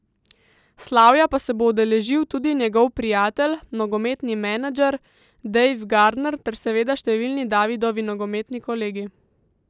Slavja pa se bo udeležil tudi njegov prijatelj, nogometni manager, Dave Gardner ter seveda številni Davidovi nogometni kolegi.